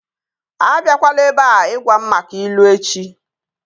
A biakwala ebea ịgwa m maka ilu echi!